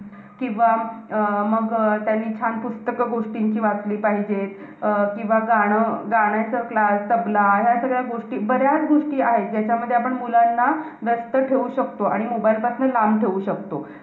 किंवा अं मग अं त्यांनी छान पुस्तकं गोष्टींची वाचली पाहिजेत. अं किंवा गाणं~ गाण्यांचा class, तबला. ह्या सगळ्या गोष्टी~ बऱ्याच गोष्टी आहेत. ज्याच्यामध्ये आपण मुलांना व्यस्त ठेऊ शकतो. आणि mobile पासन लांब ठेऊ शकतो.